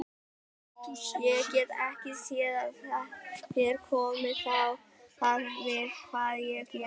Ég get ekki séð að þér komi það neitt við hvað ég geri.